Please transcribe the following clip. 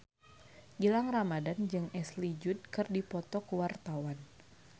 Gilang Ramadan jeung Ashley Judd keur dipoto ku wartawan